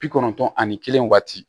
Bi kɔnɔntɔn ani kelen waati